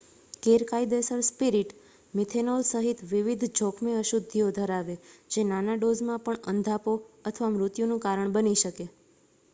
ગેરકાયદેસર spirit methanol સહિત વિવિધ જોખમી અશુદ્ધિઓ ધરાવે, જે નાના ડોઝમાં પણ અંધાપો અથવા મૃત્યુનું કારણ બની શકે